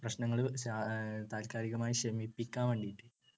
പ്രശ്നങ്ങൾ താല്കാലികമായി ശമിപ്പിക്കാൻ വേണ്ടീട്ട്